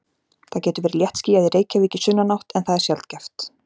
Það getur verið léttskýjað í Reykjavík í sunnanátt en það er sjaldgæft.